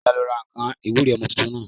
Ọlá ló ra àwọn nǹkan ìwúre ọmọ tuntun náà